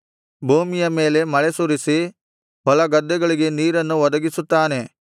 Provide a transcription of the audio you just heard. ಭೂಮಿಯ ಮೇಲೆ ಮಳೆಸುರಿಸಿ ಹೊಲಗದ್ದೆಗಳಿಗೆ ನೀರನ್ನು ಒದಗಿಸುತ್ತಾನೆ